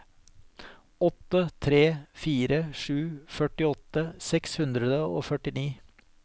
åtte tre fire sju førtiåtte seks hundre og førtini